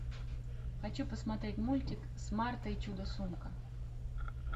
хочу посмотреть мультик смарта и чудо сумка